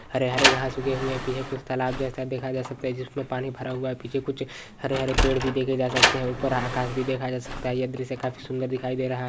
हरे हरे घास उगे होंगे पीछे कुछ तलाब जैसा देखा जा सकता है जिसमे पानी भरा हुआ हैं पीछे कुछ हरे-हरे पेड़ भी देखे जा सकते हैं ऊपर आकास भी देखा जा सकता हैं यह दृश्य काफी सुन्दर दिखाई दे रहा है।